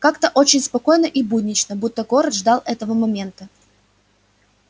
как-то очень спокойно и буднично будто город ждал этого момента